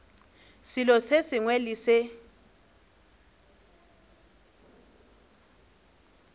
selo se sengwe le se